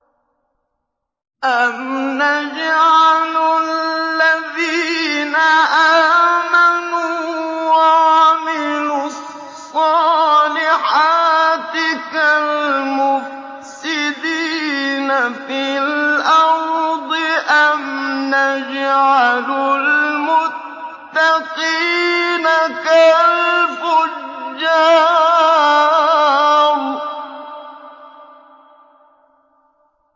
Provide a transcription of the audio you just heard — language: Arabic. أَمْ نَجْعَلُ الَّذِينَ آمَنُوا وَعَمِلُوا الصَّالِحَاتِ كَالْمُفْسِدِينَ فِي الْأَرْضِ أَمْ نَجْعَلُ الْمُتَّقِينَ كَالْفُجَّارِ